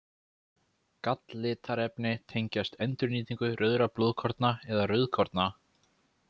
Galllitarefni tengjast endurnýtingu rauðra blóðkorna eða rauðkorna.